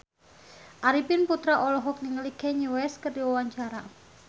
Arifin Putra olohok ningali Kanye West keur diwawancara